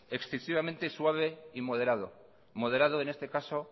excesivamente suave y moderado moderado en este caso